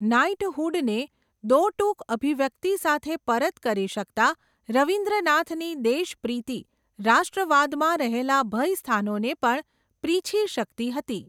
Night હુડને દો ટૂક અભિ વ્યક્તિ સાથે પરત કરી શકતા, રવીન્દ્ર નાથની દેશ પ્રીતિ, રાષ્ટ્ર વાદમાં રહેલાં ભય સ્થાનોને પણ પ્રીછી શકતી હતી.